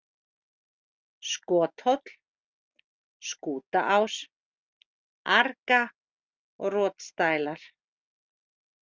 Skothóll, Skútaás, Arga, Rotsdælar